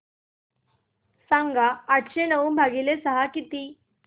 सांगा आठशे नऊ भागीले सहा किती